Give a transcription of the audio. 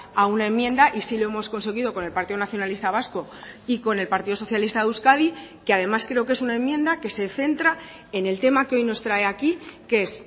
a una enmienda y sí lo hemos conseguido con el partido nacionalista vasco y con el partido socialista de euskadi que además creo que es una enmienda que se centra en el tema que hoy nos trae aquí que es